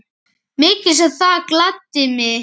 Mikið sem það gladdi mig.